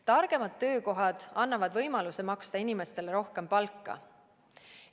Targemad töökohad annavad võimaluse maksta inimestele rohkem palka.